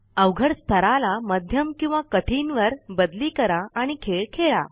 अवघड स्थाराला मध्यम किंवा कठीण वर बदली करा आणि खेळ खेळा